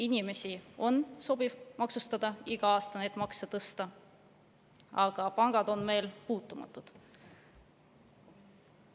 Inimesi sobib maksustada, iga aasta neid makse tõsta, aga pangad on meil puutumatud.